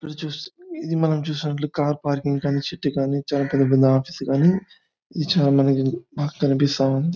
ఇది చూస్ ఇది మనం చూసినట్లు కార్ పార్కింగ్ గానీ చెట్టు కానీ ఆఫీస్ గానీ ఇది చాలా బాగా కనిపిస్తుంది.